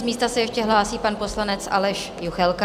Z místa se ještě hlásí pan poslanec Aleš Juchelka.